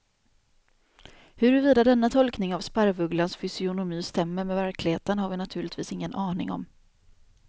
Huruvida denna tolkning av sparvugglans fysionomi stämmer med verkligheten har vi naturligtvis ingen aning om.